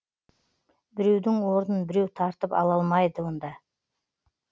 біреудің орнын біреу тартып ала алмайды онда